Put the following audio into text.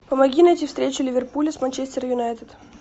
помоги найти встречу ливерпуля с манчестер юнайтед